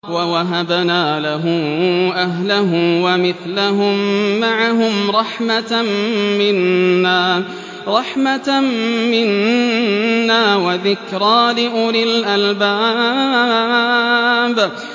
وَوَهَبْنَا لَهُ أَهْلَهُ وَمِثْلَهُم مَّعَهُمْ رَحْمَةً مِّنَّا وَذِكْرَىٰ لِأُولِي الْأَلْبَابِ